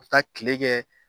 Ka taa kile kɛ